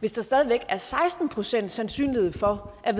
hvis der stadig væk er seksten procent sandsynlighed for at